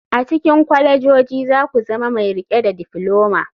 A cikin kwalejoji za ku zama mai riƙe da difloma.